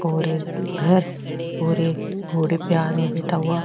और एक घर और एक घोड़े पे आदमी बैठा हुआ --